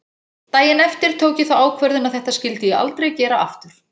Daginn eftir tók ég þá ákvörðun að þetta skyldi ég aldrei gera aftur.